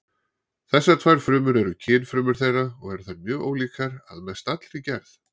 Þessar tvær frumur eru kynfrumur þeirra og eru þær mjög ólíkar að mest allri gerð.